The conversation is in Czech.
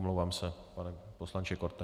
Omlouvám se, pane poslanče Korte.